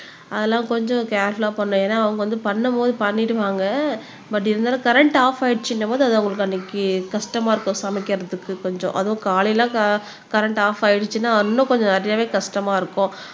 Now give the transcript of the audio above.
அதெல்லாம் கொஞ்சம் கேர்ஃபுல்லா பண்ணணும் ஏன்னா அவங்க வந்து பண்ணும் போது பண்ணிடுவாங்க பட் இருந்தாலும் கரண்ட் ஆப் ஆயிடுச்சுன்னும்போது அது அவங்களுக்கு அன்னைக்கு கஷ்டமா இருக்கும் சமைக்கிறதுக்கு கொஞ்சம் அதுவும் காலையில கரண்ட் க ஆப் ஆயிடுச்சுன்னா இன்னும் கொஞ்சம் நிறையாவே கஷ்டமா இருக்கும்